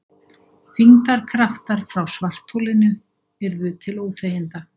Þyngdarkraftar frá svartholinu yrðu til óþæginda.